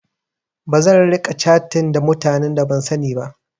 Bazan riƙa catin ta mutane da ban sani ba.